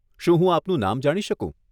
શું હું આપનું નામ જાણી શકું?